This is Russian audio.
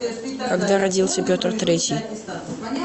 когда родился петр третий